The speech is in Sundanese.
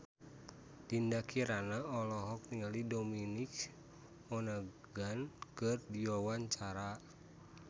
Dinda Kirana olohok ningali Dominic Monaghan keur diwawancara